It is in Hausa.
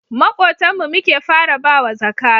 Makotan mu muke fara bawa zaka